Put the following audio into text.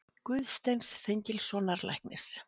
Guðsteins Þengilssonar læknis.